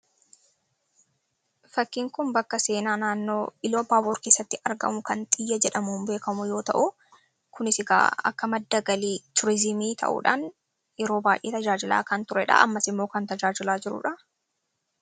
fakkiin kun bakka seenaa naannoo ila baabor keessatti argamu kan xiyya jedhamu beekamuu yoo ta'u kunisigaa akka maddagalii tuurizimii ta'uudhaan yeroo baay'ee tajaajilaa kan turedha ammas immoo kan tajaajilaa jiruudha